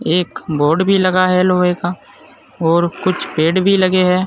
एक बोर्ड भी लगा है लोहे का और कुछ पेड़ भी लगे है।